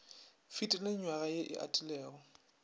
fetile nywaga ye e atilego